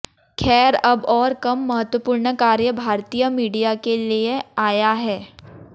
खैर अब और कम महत्वपूर्ण कार्य भारतीय मीडिया के लिये आया है